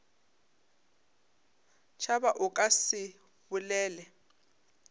tšhaba o ka se bolele